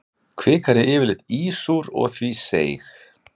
Kvikan er yfirleitt ísúr og því seig.